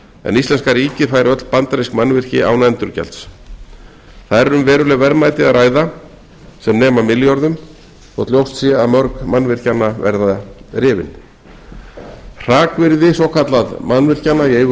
en íslenska ríkið fær öll bandarísk mannvirki án endurgjalds þar er um veruleg verðmæti að ræða sem nema milljörðum þótt ljóst sé að mörg mannvirkjanna verði rifin hrakvirði mannvirkja í eigu